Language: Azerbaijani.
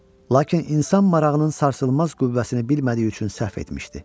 Lakin insan marağının sarsılmaz qüvvəsini bilmədiyi üçün səhv etmişdi.